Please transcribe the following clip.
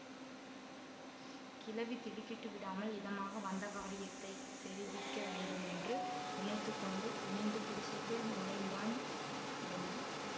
கிழவி திடுக்கிட்டு விடாமல் இதமாக வந்த காரியத்தை தெரிவிக்க வேண்டும் என்று நினைத்து கொண்டு குனிந்து குடிசைக்குள் நுழைந்தான் யமன்